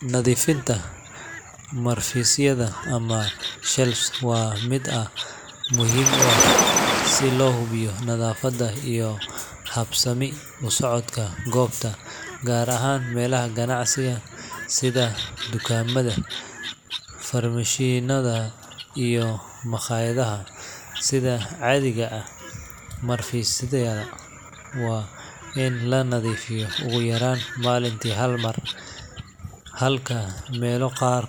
Nadifinta marfisyada ama shelves wa mid muxiim u ah si lohubiyo nadafada iyo habsami usocodka gobta gaar ahan sidhe tukamada farmashinada iyo maqayadaha, sidha cadiga ah marfosyada wa in lanadifiyo malinti hal mar, halka gaar